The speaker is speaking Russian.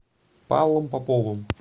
павлом поповым